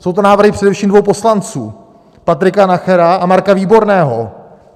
Jsou to návrhy především dvou poslanců, Patrika Nachera a Marka Výborného.